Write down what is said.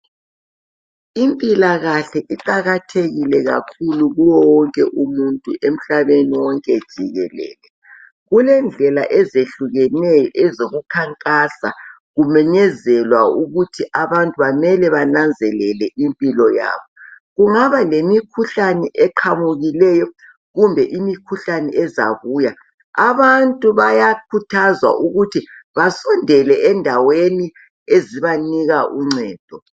Impilakahle iqakathekile kakhulu kuwo wonke umuntu emhlabeni wonke jikelele. Kulendlela ezehlukeneyo ezokukhankasa, kumenyezelwa ukuthi abantu bamele bananzelele impilo yabo. Kungaba lemikhuhlane eqhamukileyo, kumbe imikhuhlane ezabuya. Abantu bayakhuthazwa ukuthi, basondele endaweni ezibanika uncedo.